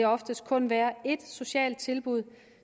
oftest kun være ét socialt tilbud